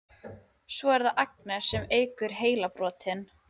Svo er það Agnes sem eykur heilabrotin.